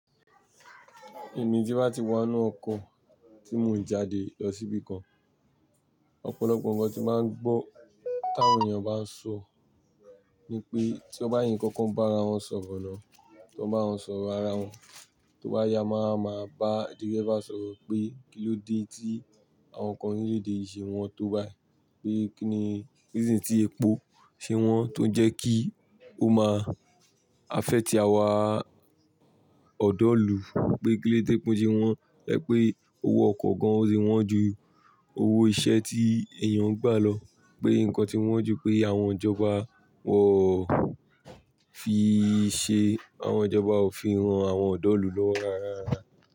Èmi tí ba ti wà nú ọkọ̀ tí mò ń jáde lọ síbí kan, ọ̀pọ̀lọpọ̀ ǹkan tí màá ń gbọ́ táwọn èèyàn bá ń sọ ni pé tí wọ́n bá yín kankan bá ara wọn sọ̀rọ̀ lọ, tí wọ́n bá ń sọ̀rọ̀ ara wọn, tọ́ bá ya máa ma bá dirẹbá sọ̀rọ̀ pé kílóde tí àwọn ǹkan orílẹ̀ èdè yì ṣe wọn tó bá ẹ, pé kí ni reason tí epo ṣe wọ́n tó ń jẹ́ kí ó máa afẹ́ ti àwa ọ̀dọ́ ìlú, pé kíló dé tépó sẹ wọ́n, ẹ pé owó ọkọ̀ gan an ṣe wọ́n ju owó iṣẹ́ tí èèyàn ń gbà lọ, pé ǹkan tí wọ́n ju pé àwọn ìjọba wọ fi ṣe àwọn ìjọba òfin ran àwọn ọ̀dọ́ ìlú lọ́wọ́ rara.